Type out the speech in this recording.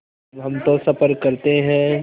अब हम तो सफ़र करते हैं